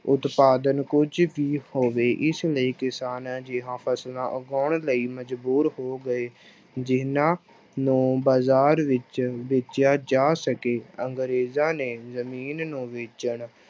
ਉਤਪਾਦਨ ਕੁਛ ਵੀ ਹੋਵੇ ਇਸ ਲਈ ਕਿਸਾਨ ਅਜਿਹੀਆਂ ਫਸਲਾਂ ਉਗਾਉਣ ਲਈ ਮਜ਼ਬੂਰ ਹੋ ਗਏ ਜਿਹਨਾਂ ਨੂੰ ਬਾਜ਼ਾਰ ਵਿੱਚ ਵੇਚਿਆ ਜਾ ਸਕੇ, ਅੰਗਰੇਜ਼ਾਂ ਨੇ ਜ਼ਮੀਨ ਨੂੰ ਵੇਚਣ